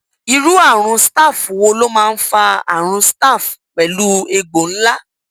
irú àrùn staph wo ló máa ń fa àrùn staph pẹlú egbò ńlá